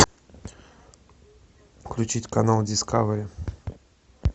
включить канал дискавери